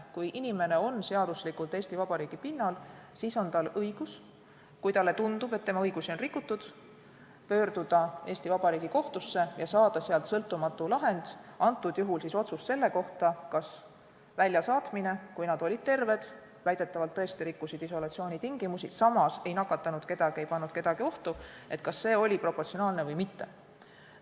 Kui inimene viibib seaduslikult Eesti Vabariigi pinnal, siis on tal õigus pöörduda kohtusse ja saada sealt sõltumatu lahend, antud juhul otsus selle kohta, kas väljasaatmine, kui nad olid terved – väidetavalt nad tõesti rikkusid isolatsioonitingimusi, samas ei nakatanud kedagi, ei pannud kedagi ohtu –, oli proportsionaalne või mitte.